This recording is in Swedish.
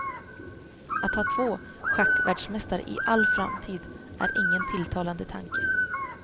Att ha två schackvärldsmästare i all framtid är ingen tilltalade tanke.